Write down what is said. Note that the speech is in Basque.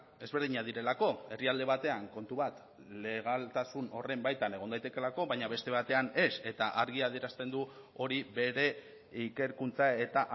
ezberdinak direlako herrialde batean kontu bat legaltasun horren baitan egon daitekeelako baina beste batean ez eta argi adierazten du hori bere ikerkuntza eta